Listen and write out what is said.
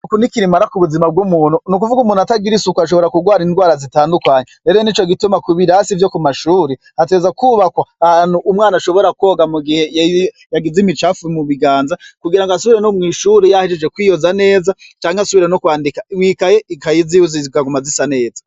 Isuku n'ikirumara k'ubuzima bw'umuntu. N'ukuvuga umuntu atagira isuku ashobora kurwara indwara zitandukanye .Mbere n'ico gituma ku birasi vyo ku mashure, hategerezwa kwubakwa ahantu umwana ashobora kwoga ,mu gihe yagize imicafu mu biganza, kugira ngo asubire no mw'ishure yahejeje kwiyoza neza, canke asubire no kwandika mw'ikaye ziwe, ikaye ziwe zikaguma zisa neza.